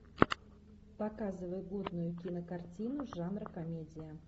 показывай годную кинокартину жанра комедия